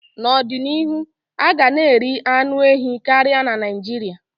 N'ọdịnihu, a ga na eri anụ ehi karịa na Naịjirịa.